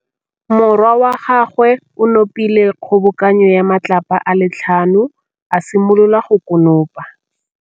Morwa wa gagwe o nopile kgobokanô ya matlapa a le tlhano, a simolola go konopa.